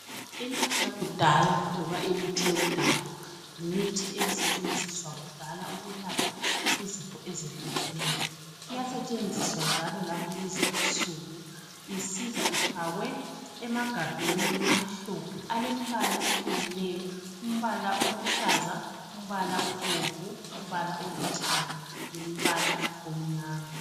Imithi yakudala noma imithi yomdabu yimithi yakudala yimithi ebisetshenziswa kudala ukwelapha iyasetshenziswa njalo ngakulezinsuku Ufakwe emagabheni amhlophe, alembala ehlukeneyo umbala oluhlaza, umbala obomvu , ubambe olithanga umbala omnyama.